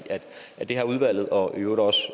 og det har udvalget og i øvrigt også